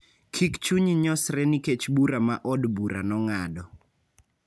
Kik chunyi nyosre nikech bura ma od bura nong'ado.